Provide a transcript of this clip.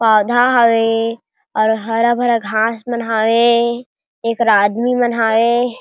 पौधा हवे और हरा-भरा घाँस मन हवे एकरा आदमी मन हवे।